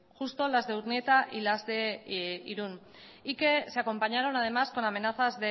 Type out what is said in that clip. justo las de urnieta y las de irun y que se acompañaron además con amenazas